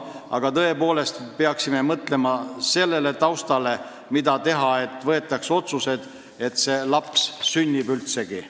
Aga me peaksime tõepoolest mõtlema sellele taustale – mida teha, et võetaks vastu otsus, et see laps üldse sünniks?